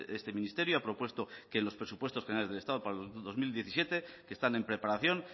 este ministerio ha propuesto que en los presupuestos generales del estado para el dos mil diecisiete que están en preparación